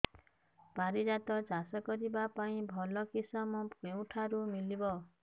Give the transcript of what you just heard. ପାରିଜାତ ଚାଷ କରିବା ପାଇଁ ଭଲ କିଶମ କେଉଁଠାରୁ ମିଳିବ